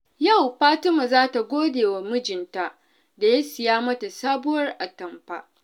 Yau, Fatima za ta gode wa mijinta da ya siya mata sabuwar atamfa.